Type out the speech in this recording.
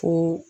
Fo